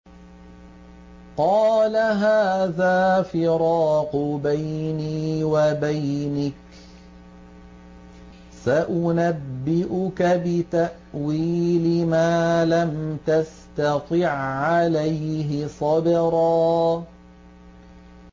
قَالَ هَٰذَا فِرَاقُ بَيْنِي وَبَيْنِكَ ۚ سَأُنَبِّئُكَ بِتَأْوِيلِ مَا لَمْ تَسْتَطِع عَّلَيْهِ صَبْرًا